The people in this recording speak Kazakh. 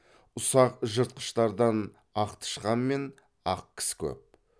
ұсақ жыртқыштардан ақтышқан мен ақкіс көп